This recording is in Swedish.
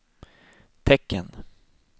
tecken